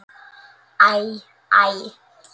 Æ, æ.